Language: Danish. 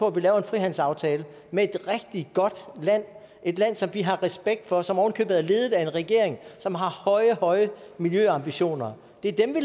at vi laver en frihandelsaftale med et rigtig godt land et land som vi har respekt for og som ovenikøbet er ledet af en regering som har høje høje miljøambitioner det